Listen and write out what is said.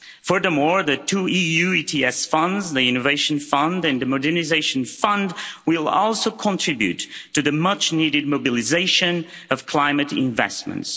Furthermore, the two EU ETS funds, the Innovation Fund and the Modernisation Fund, will also contribute to the much needed mobilisation of climate investments.